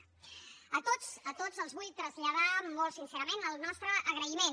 a tots a tots els vull traslladar molt sincerament el nostre agraïment